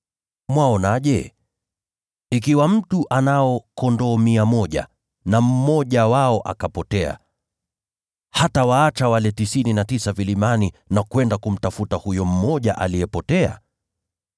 “Mwaonaje? Ikiwa mtu ana kondoo mia moja, na mmoja wao akapotea, je, hatawaacha wale tisini na tisa vilimani na kwenda kumtafuta huyo mmoja aliyepotea?